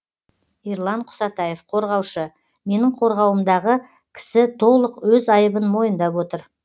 ерлан құсатаев қорғаушы менің қорғауымдағы кісі толық өз айыбын мойындап отыр